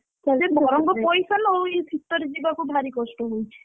ହଁ ବରଂ ପଇସା ନଉ କିନ୍ତୁ ଏ ଶୀତରେ ଯିବାକୁ ଭାରି କଷ୍ଟ ହଉଛି।